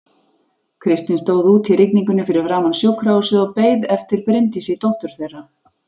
Kristinn stóð úti í rigningunni fyrir framan sjúkrahúsið og beið eftir Bryndísi dóttur þeirra.